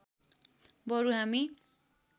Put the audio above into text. बरु हामी